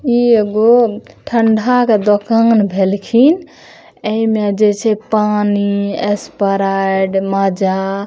ई एगो ठंडा के दुकान भेलखिन ऐ में जेई छै पानी स्प्राइट मज़ा --